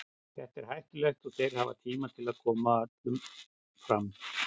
Þetta er hættulegt og þeir hafa tíma til að koma öllum fram.